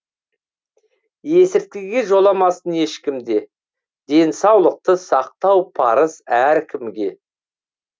есірткіге жоламасын ешкім де денсаулықты сақтау парыз әркімге